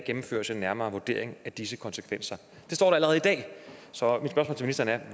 gennemføres en nærmere vurdering af disse konsekvenser sådan sådan